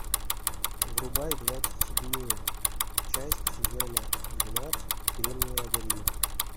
врубай двадцать седьмую часть сезона двенадцать кремниевая долина